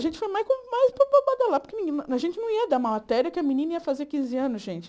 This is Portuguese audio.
A gente foi mais com mais para babalar, porque a gente não ia dar matéria que a menina ia fazer quinze anos, gente.